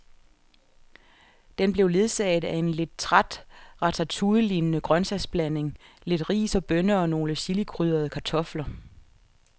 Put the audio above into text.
Den blev ledsaget af en lidt træt ratatouillelignende grøntsagsblanding, lidt ris og bønner og nogle chilikrydrede kartofler.